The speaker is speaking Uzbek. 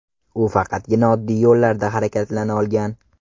U faqatgina oddiy yo‘llarda harakatlana olgan.